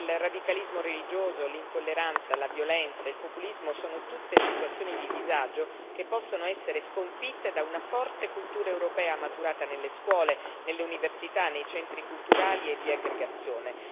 Il radicalismo religioso, l'intolleranza, la violenza e il populismo sono tutte situazioni di disagio che possono essere sconfitte da una forte cultura europea maturata nelle scuole, nelle università, nei centri culturali e di aggregazione.